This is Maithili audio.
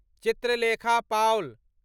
चित्रलेखा पाउल